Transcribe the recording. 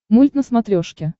мульт на смотрешке